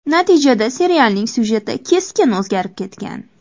Natijada serialning syujeti keskin o‘zgarib ketgan.